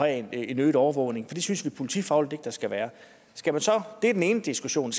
have en øget overvågning for det synes vi politifagligt ikke der skal være det er den ene diskussion